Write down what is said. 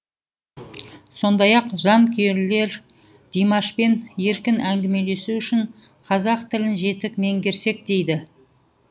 сондай ақ жанкүйерлер димашпен еркін әңгімелесу үшін қазақ тілін жетік меңгерсек дейді